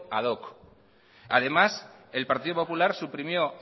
ad hoc además el partido popular suprimió